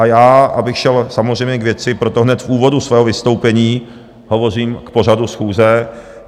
A já, abych šel samozřejmě k věci, proto hned v úvodu svého vystoupení hovořím k pořadu schůze.